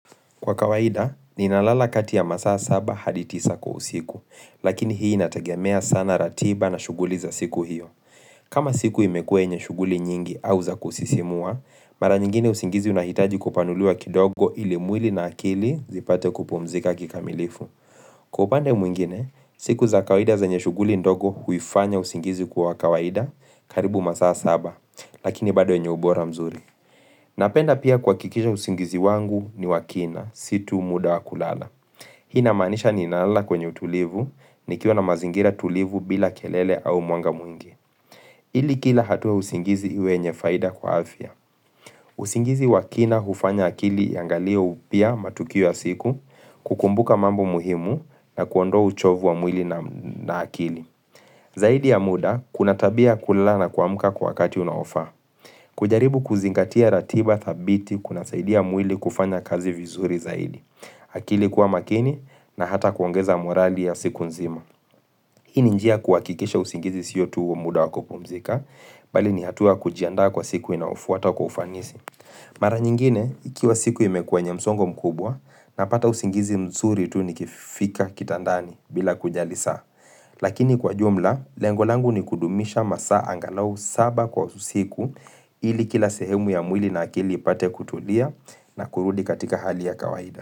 Kwa kawaida, nina lala kati ya masaa saba hadi tisa kwa usiku, lakini hii inatagemea sana ratiba na shughuli za siku hiyo. Kama siku imekue yenye shughuli nyingi au za kusisimua, mara nyingine usingizi unahitaji kupanulia kidogo ili mwili na akili zipate kupumzika kikamilifu. Kwa upande mwingine, siku za kawaida zenye shughuli ndogo huifanya usingizi kuwa wa kawaida karibu masaa saba, lakini bado ni ubora mzuri. Napenda pia kwa kuhakikisha usingizi wangu ni wakina, si tu muda wa kulala. Hii inamanisha nina lala kwenye utulivu, ni kiwa na mazingira tulivu bila kelele au mwanga mwingi. Ili kila hatua usingizi iwe yenye faida kwa afya. Usingizi wakina hufanya akili iangalia upya matukio ya siku, kukumbuka mambo muhimu na kuondoa uchovu wa mwili na akili. Zaidi ya muda, kuna tabia kulala ya kula na kuamka kwa wakati unaofa. Kujaribu kuzingatia ratiba dhabiti kuna saidia mwili kufanya kazi vizuri zaidi akili kuwa makini na hata kuongeza morali ya siku nzima Hii ni njia kuhakikisha usingizi siyo tu muda wakupumzika Bali ni hatua kujiandaa kwa siku inayofuata kwa ufanisi Mara nyingine, ikiwa siku imekuwa yenye msongo mkubwa Napata usingizi mzuri tu nikifika kitandani bila kujali saa Lakini kwa jumla, lengo langu ni kudumisha masaa angalau saba kwa usiku ili kila sehemu ya mwili na akili ipate kutulia na kurudi katika hali ya kawaida.